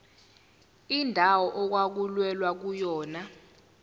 indawo okwakulwelwa kuyona